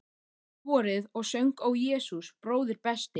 Faðirvorið og söng Ó Jesús bróðir besti.